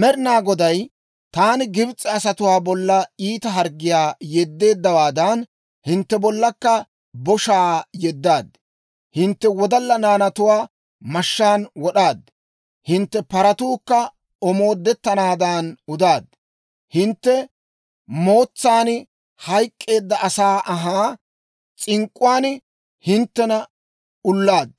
Med'inaa Goday, «Taani Gibs'e asatuwaa bolla iita harggiyaa yeddeeddawaadan, hintte bollankka boshaa yeddaad; hintte wodalla naanatuwaa mashshaan wod'aad; hintte paratuukka omoodettanaadan udaad. Hintte mootsan hayk'k'eedda asaa anhaa s'ink'k'uwaan hinttena ulaad;